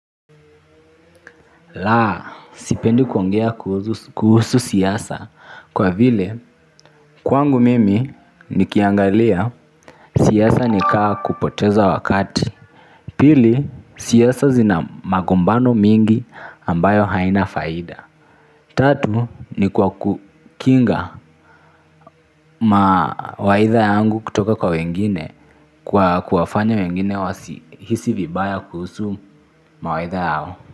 La, sipendi kuongea kuhusu siasa kwa vile kwangu mimi nikiangalia siasa nikama kupoteza wakati, pili siasa zina magombano mengi ambayo haina faida, tatu ni kwa kukinga mawaidha yangu kutoka kwa wengine kuwafanya wengine kwa kuwafanya wengine wasihisi vibaya kuhusu mawaidha yao.